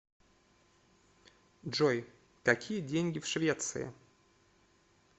джой какие деньги в швеции